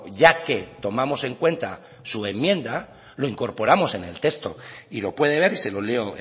ya que tomamos en cuenta su enmienda lo incorporamos en el texto y lo puede ver y se lo leo